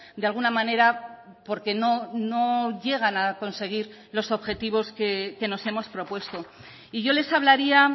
de alguna manera porque no llegan a conseguir los objetivos que nos hemos propuesto y yo les hablaría